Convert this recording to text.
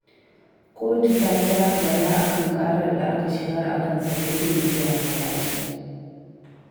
Kotu ta kira Bala a kan ƙarar da aka shigar a kansa ta ƙin biyan haraji